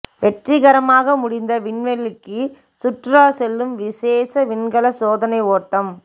வெற்றிகரமாக முடிந்த விண்வெளிக்கு சுற்றுலா செல்லும் விசேஷ விண்கல சோதனை ஓட்டம்